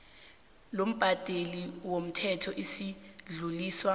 lombhadeli womthelo lisadluliswa